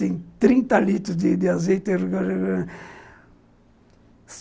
Tem trinta litros de azeite